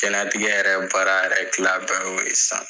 Diɲɛnatigɛ yɛrɛ baara yɛrɛ tila bɛɛ y'o ye sisan.